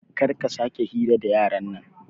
Karka sake hira da yaran nan